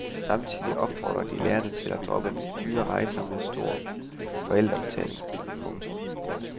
Samtidig opfordrer de lærerne til at droppe dyre rejser med stor forældrebetaling. punktum